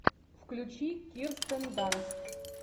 включи кирстен данст